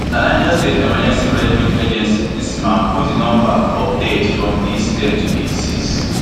na di niger state emergency management agency nsema put di number of deaths from di incident to eighty-six